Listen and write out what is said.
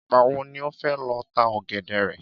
Ìgbà wo ni o fẹ́ lọ tá ọ̀gẹ̀dẹ̀ rẹ?